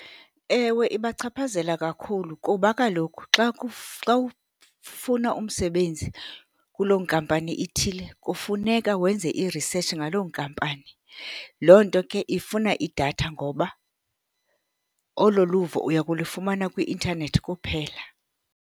Ewe, ibachaphazela kakhulu kuba kaloku xa, xa ufuna umsebenzi kuloo nkampani ithile, kufuneka wenze irisetshi ngaloo nkampani. Loo nto ke ifuna idatha ngoba olo luvo uya kulifumana kwi-intanethi kuphela.